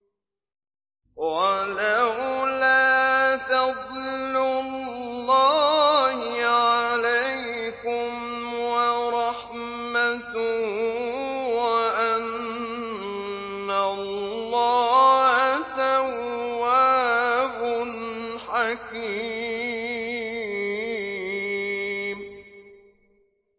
وَلَوْلَا فَضْلُ اللَّهِ عَلَيْكُمْ وَرَحْمَتُهُ وَأَنَّ اللَّهَ تَوَّابٌ حَكِيمٌ